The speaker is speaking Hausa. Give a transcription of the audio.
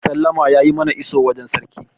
sallama ya yi mana iso wajen sarki